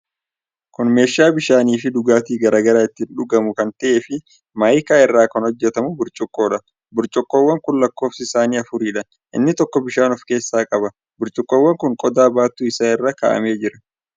Kun meeshaa bishaanifii dhugaatii garaa garaa itti dhugamu kan ta'ee fi maayikaa irraa kan hojjatamu burcuqqoodha. Burcuqqoowwan kun lakkoofsi isaanii afuridha. Inni tokko bishaan of keessa qaba. Burcuqqoowwan kun qodaa baattuu isaa irra kaa'amee jira.